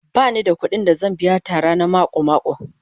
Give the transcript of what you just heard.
Ba ni da kuɗin da zan biya Tara na mako-mako